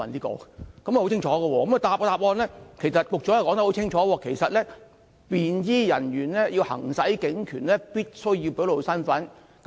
局長也在主體答覆中清楚表示："便裝警務人員在行使警察權力時，需要表露身份"。